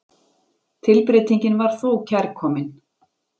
Tilbreytingin var þó kærkomin.